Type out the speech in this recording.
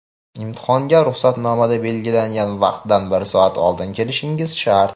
Imtihonga ruxsatnomada belgilangan vaqtdan bir soat oldin kelishingiz shart!.